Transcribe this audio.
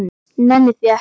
Nenni því ekki